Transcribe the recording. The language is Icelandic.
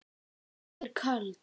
Ég er köld.